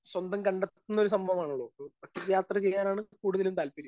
Speaker 1 സ്വന്തം കണ്ടെത്തുന്ന ഒരു സംഭവമാണല്ലോ? ഒരു ഒറ്റ യാത്ര ചെയ്യാനാണ് കൂടുതലും താല്പര്യം.